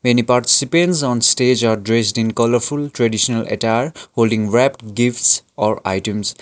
many participants on stage are dressed in colourful traditional attire holding wrapped gifts or items.